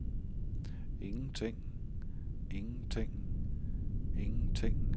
ingenting ingenting ingenting